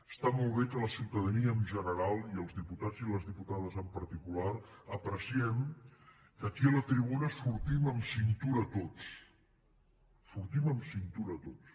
està molt bé que la ciutadania en general i els diputats i les diputades en particular apreciem que aquí a la tribuna sortim amb cintura tots sortim amb cintura tots